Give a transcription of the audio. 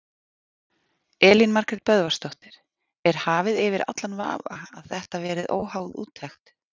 Elín Margrét Böðvarsdóttir: Er hafið yfir allan vafa að þetta verið óháð úttekt?